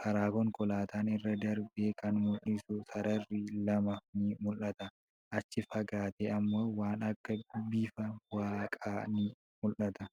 Karaaa konkolaataan irra darbe kan mul'isu sararri lama ni mul'ata. Achi fagaatee immoo waan akka bifa waaqaa ni mull'ata.